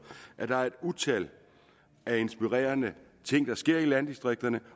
at der er et utal af inspirerende ting der sker i landdistrikterne